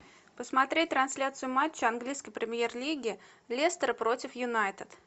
посмотреть трансляцию матча английской премьер лиги лестер против юнайтед